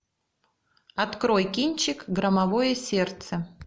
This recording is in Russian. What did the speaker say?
открой кинчик громовое сердце